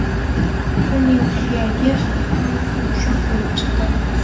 uning suyagi ham yumshoq bo‘lib chiqdi.